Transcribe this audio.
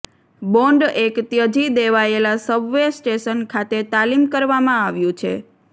bond એક ત્યજી દેવાયેલા સબવે સ્ટેશન ખાતે તાલીમ કરવામાં આવ્યું છે